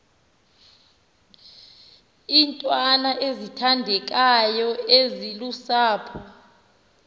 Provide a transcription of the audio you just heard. iintwana ezithandekayo ezilusapho